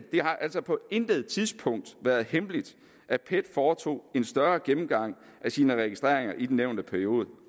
har altså på intet tidspunkt været hemmeligt at pet foretog en større gennemgang af sine registreringer i den nævnte periode